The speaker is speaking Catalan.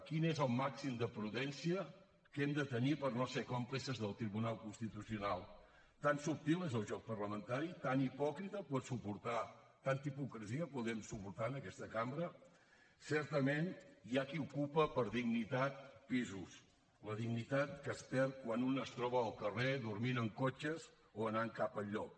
quin és el màxim de prudència que hem de tenir per no ser còmplices del tribunal constitucional tan subtil és el joc parlamentari tanta hipocresia podem suportar en aquesta cambra certament hi ha qui ocupa per dignitat pisos la dignitat que es perd quan un es troba al carrer dormint en cotxes o anant cap a enlloc